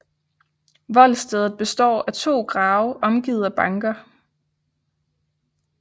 Voldstedet består af to grave omgivet af banker